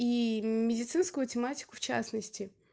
и медицинскую тематику в частности